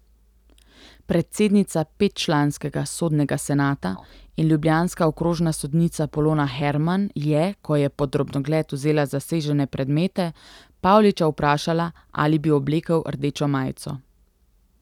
Predsednica petčlanskega sodnega senata in ljubljanska okrožna sodnica Polona Herman je, ko je pod drobnogled vzela zasežene predmete, Pavliča vprašala, ali bi oblekel rdečo majico.